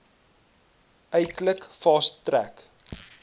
eintlik fast track